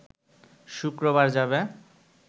শুক্রবার যাবে